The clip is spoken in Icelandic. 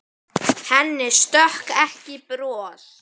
Henni stökk ekki bros.